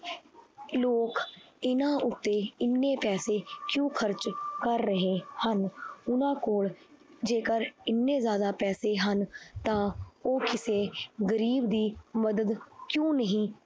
ਲੋਕ ਇਹਨਾਂ ਉੱਤੇ ਇੰਨੇ ਪੈਸੇ ਕਿਉਂ ਖ਼ਰਚ ਕਰ ਰਹੇ ਹਨ ਉਹਨਾਂ ਕੋਲ ਜੇਕਰ ਇੰਨੇ ਜ਼ਿਆਦਾ ਪੈਸੇ ਹਨ ਤਾਂ ਉਹ ਕਿਸੇ ਗ਼ਰੀਬ ਦੀ ਮਦਦ ਕਿਉਂ ਨਹੀਂ